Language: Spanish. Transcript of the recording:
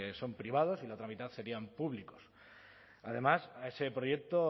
son privados y la otra mitad serían públicos además a ese proyecto